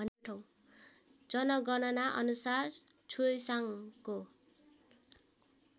जनगणना अनुसार छुसाङको